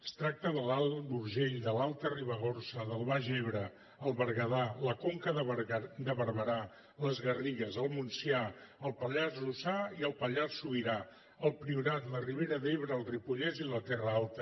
es tracta de l’alt urgell de l’alta ribagorça del baix ebre el berguedà la conca de barberà les garrigues el montsià el pallars jussà i el pallars sobirà el priorat la ribera d’ebre el ripollès i la terra alta